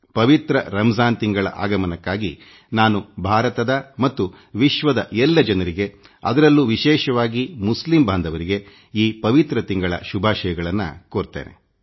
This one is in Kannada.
ಪವಿತ್ರ ರಂಜಾನ್ ಮಾಸದ ಸಂದರ್ಭದಲ್ಲಿ ನಾನು ಭಾರತವಾಸಿಗಳಿಗೆ ಮತ್ತು ವಿಶ್ವದ ಎಲ್ಲ ಜನರಿಗೆ ಅದರಲ್ಲೂ ವಿಶೇಷವಾಗಿ ಮುಸ್ಲಿಂ ಬಾಂಧವರಿಗೆ ಈ ಪವಿತ್ರ ಮಾಸದ ಶುಭಾಶಯಗಳನ್ನು ಸಲ್ಲಿಸುತ್ತೇನೆ